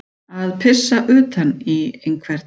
Að pissa utan í einhvern